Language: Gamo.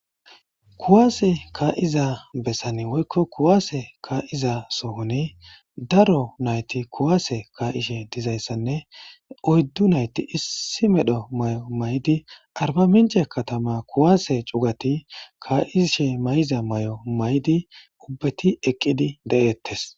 kuwaase ka7iza bessan woykko kuwaase kaa7iza sohoni daro nayti kuwaase kaa7ishe dizayssanne oyddu nayti issi medho may7o maydi arba mince katama kuwaase cugati kaa7ishe may7iza may7o maydi ubbeti eqqidi de7ettes